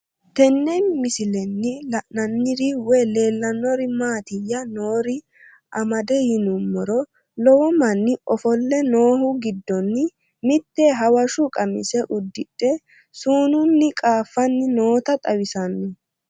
Tenne misilenni la'nanniri woy leellannori maattiya noori amadde yinummoro lowo manni offolle noohu giddonni mitte hawashshu qamise udidhe sununni qaaffanni nootta xawissanno